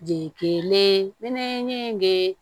Jeli mɛnɛ in bɛ